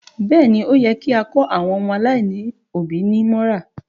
Bẹẹ ni, ó yẹ kí a kó àwọn ọmọ aláìlóbí mọ́ra